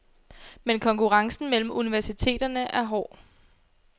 Men konkurrencen mellem universiteterne er hård.